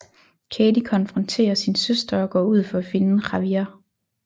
Katey konfronterer sin søster og går ud for at finde Javier